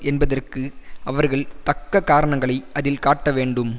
என்பதற்கு அவர்கள் தக்க காரணங்களை அதில் காட்டவேண்டும்